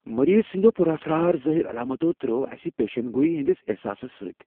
مریض سندیو پٗر اسرار ظاہر علامتو تر٘ٲوِ اسہِ پیشن گوئی ہندِس احساسس سۭتۍ ۔